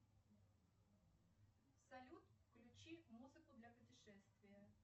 салют включи музыку для путешествия